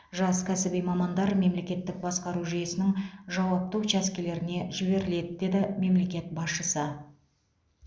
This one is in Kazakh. жас кәсіби мамандар мемлекеттік басқару жүйесінің жауапты учаскелеріне жіберіледі деді мемлекет басшысы